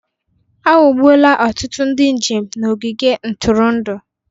A ghọgbuola ọtụtụ ndị njem n'ogige ntụrụndụ